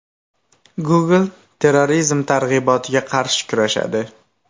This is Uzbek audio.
Google terrorizm targ‘ibotiga qarshi kurashadi.